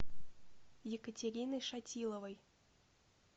екатериной шатиловой